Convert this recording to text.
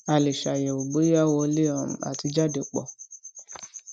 a lè ṣe àyẹwò bóyá wọlé um àti jáde pọ